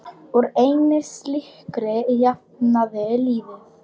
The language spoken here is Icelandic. Úr einni slíkri jafnaði liðið.